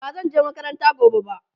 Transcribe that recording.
bazan je makaranta gobe ba